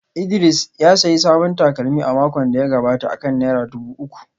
Idris ya sayi sabon takalmi a makon da ya gabata akan naira dubu uku